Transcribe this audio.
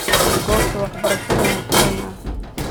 Gobta waxbarashada wan fureyna.